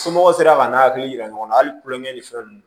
Somɔgɔw sera ka n'a hakili yira ɲɔgɔn na hali kulonkɛ ni fɛn nunnu